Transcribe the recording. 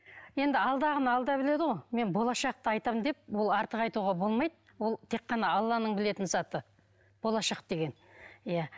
енді алдағыны біледі ғой мен болашақты айтамын деп ол артық айтуға болмайды ол тек қана алланың білетін заты болашақ деген иә